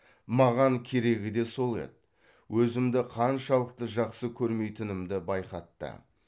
маған керегі де сол еді өзімді қаншалықты жақсы көрмейтінімді байқатты